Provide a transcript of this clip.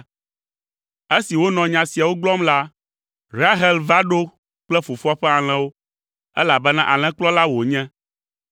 Esi wonɔ nya siawo gblɔm la, Rahel va ɖo kple fofoa ƒe alẽwo, elabena alẽkplɔla wònye.